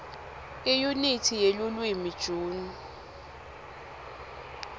iyunithi yelulwimi june